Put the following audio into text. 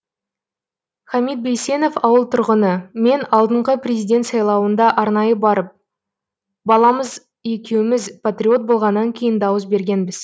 хамид бейсенов ауыл тұрғыны мен алдыңғы президент сайлауында арнайы барып баламыз екеуміз патриот болғаннан кейін дауыс бергенбіз